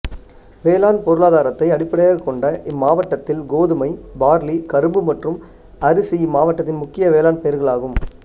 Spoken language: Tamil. வேளாண் பொருளாதாரத்தை அடிப்படையாக கொண்ட இம்மாவட்டத்தில் கோதுமை பார்லி கரும்பு மற்றும் அரிசி இம்மாவட்டத்தின் முக்கிய வேளாண்மைப் பயிர்களாகும்